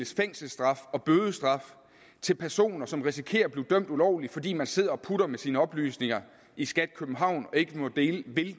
fængselsstraf og bødestraf til personer som risikerer at blive dømt ulovligt fordi man sidder og putter med sine oplysninger i skat københavn og ikke vil dele